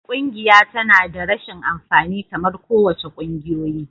Ƙungiya tana da rashin amfani kamar kowace ƙungiyoyi.